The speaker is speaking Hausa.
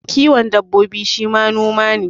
Kiwon dabbobi shi ma noma ne